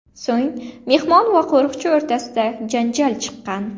So‘ng mehmon va qo‘riqchi o‘rtasida janjal chiqqan.